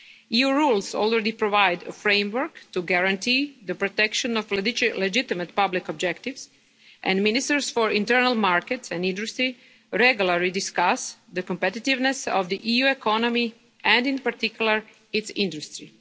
EU rules already provide a framework to guarantee the protection of legitimate public objectives and Ministers for the internal market and industry regularly discuss the competitiveness of the EU economy and in particular its industry.